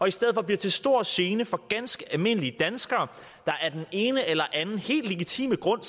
i stedet for bliver til stor gene for ganske almindelige danskere der af den ene eller anden helt legitime grund